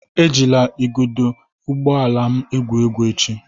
Ejila igodo ụgbọ ala m egwu egwu echi!